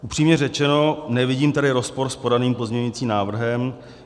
Upřímně řečeno, nevidím tady rozpor s podaným pozměňovacím návrhem.